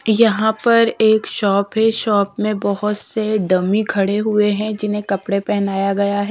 यहाँ पर एक शॉप है शॉप में बहोत से डमी खड़े हुए हैं जिन्हें कपड़े पहनाया गया है।